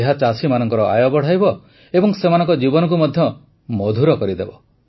ଏହା ଚାଷୀମାନଙ୍କର ଆୟ ବଢ଼ାଇବ ଏବଂ ସେମାନଙ୍କ ଜୀବନକୁ ମଧ୍ୟ ମଧୁର କରିଦେବ